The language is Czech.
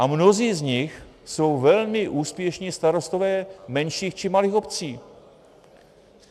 A mnozí z nich jsou velmi úspěšní starostové menších či malých obcí.